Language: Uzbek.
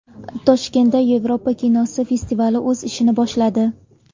Toshkentda Yevropa kinosi festivali o‘z ishini boshladi.